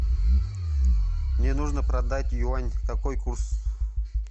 мне нужно продать юань какой курс